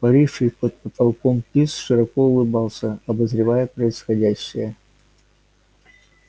паривший под потолком пивз широко улыбался обозревая происходящее